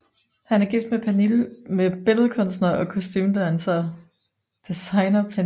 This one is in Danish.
Han er gift med billedkunstner og kostumedesigner Pernille Egeskov